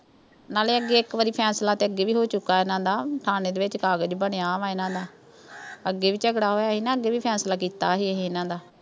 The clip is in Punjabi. ਨਾਲੇ ਅੱਗੇ ਇੱਕ ਵਾਰੀ ਫੈਸਲਾ ਤਾਂ ਅੱਗੇ ਵੀ ਹੋ ਚੁੱਕਾ ਇਨ੍ਹਾਂ ਦਾ। ਥਾਣੇ ਦੇ ਵਿੱਚ ਕਾਗਜ਼ ਬਣਿਆ ਵਿਆ ਗਾ ਇਨ੍ਹਾਂ ਦਾ। ਅੱਗੇ ਵੀ ਝਗੜਾ ਹੋਇਆ ਸੀ ਨਾ। ਅੱਗੇ ਵੀ ਫੈਸਲਾ ਕੀਤਾ ਸੀ ਇਹੇ, ਇਨ੍ਹਾਂ ਦਾ।